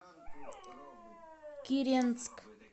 киренск